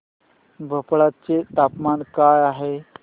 भोपाळ चे तापमान काय आहे